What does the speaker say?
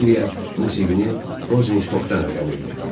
Dilya musiqini Rosenştokdan öyrənirdi.